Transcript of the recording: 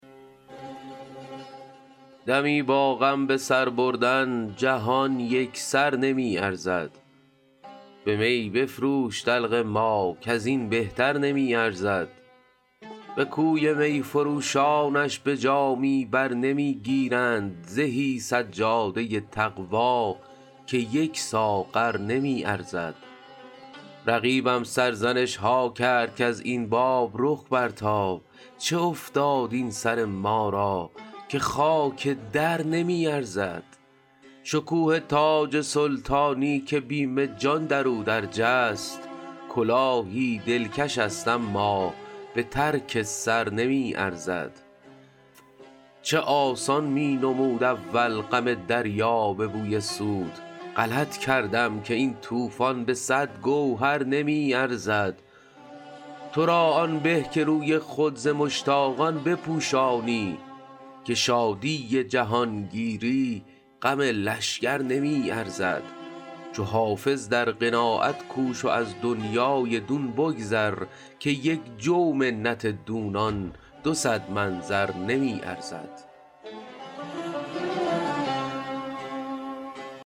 دمی با غم به سر بردن جهان یک سر نمی ارزد به می بفروش دلق ما کز این بهتر نمی ارزد به کوی می فروشانش به جامی بر نمی گیرند زهی سجاده تقوا که یک ساغر نمی ارزد رقیبم سرزنش ها کرد کز این باب رخ برتاب چه افتاد این سر ما را که خاک در نمی ارزد شکوه تاج سلطانی که بیم جان در او درج است کلاهی دلکش است اما به ترک سر نمی ارزد چه آسان می نمود اول غم دریا به بوی سود غلط کردم که این طوفان به صد گوهر نمی ارزد تو را آن به که روی خود ز مشتاقان بپوشانی که شادی جهانگیری غم لشکر نمی ارزد چو حافظ در قناعت کوش و از دنیای دون بگذر که یک جو منت دونان دو صد من زر نمی ارزد